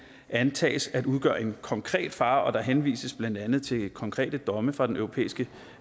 antages at udgøre en konkret fare og der henvises blandt andet til konkrete domme fra den europæiske